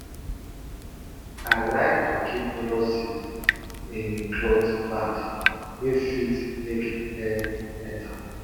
i like to keep melon seeds in cloth bags wey fit make air enter